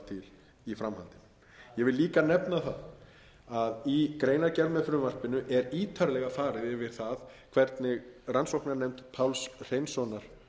til í framhaldinu ég vil líka nefna það að í greinargerð með frumvarpinu er ítarlega farið yfir það hvernig rannsóknarnefnd páls hreinssonar